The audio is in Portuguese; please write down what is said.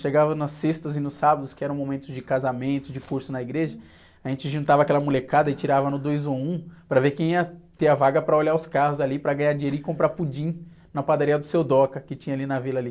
Chegava nas sextas e nos sábados, que eram momentos de casamento, de curso na igreja, a gente juntava aquela molecada e tirava no dois ou um, para ver quem ia ter a vaga para olhar os carros, ali, para ganhar dinheiro e comprar pudim na padaria do seu Doca, que tinha ali na vila ali.